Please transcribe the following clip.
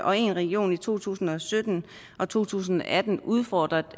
og én region i to tusind og sytten og to tusind og atten udfordret